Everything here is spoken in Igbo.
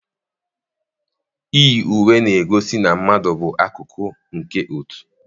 Iyi uwe na-egosi na mmadụ bụ akụkụ nke otu.